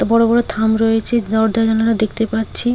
বড় বড় থাম রয়েছে দরজা জানালা দেখতে পাচ্ছি।